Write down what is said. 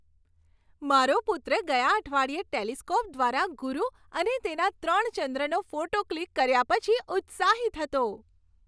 મારો પુત્ર ગયા અઠવાડિયે ટેલિસ્કોપ દ્વારા ગુરુ અને તેના ત્રણ ચંદ્રનો ફોટો ક્લિક કર્યા પછી ઉત્સાહિત હતો.